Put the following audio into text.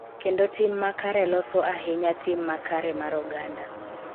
Kendo tim makare loso ahinya tim makare mar oganda